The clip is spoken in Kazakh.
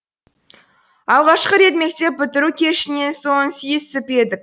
алғашқы рет мектеп бітіру кешінен соң сүйісіп едік